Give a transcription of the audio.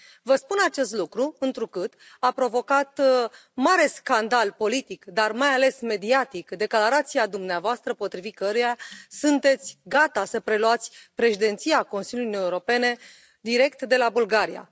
Vă spun acest lucru întrucât a provocat un mare scandal politic, dar mai ales mediatic, declarația dumneavoastră potrivit căreia sunteți gata să preluați președinția Consiliului Uniunii Europene direct de la Bulgaria.